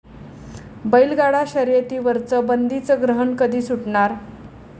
बैलगाडा शर्यतीवरचं बंदीचं ग्रहण कधी सुटणार?